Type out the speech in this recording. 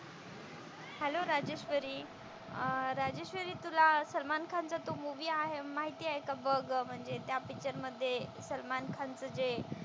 Hello Rajeshwari. अह राजेश्वरी तुला सलमान खान चा तो मुव्ही आहे माहितेय का बघ म्हणजे त्या पिक्चर मध्ये सलमान खान च जे,